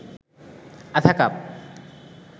আধা কাপ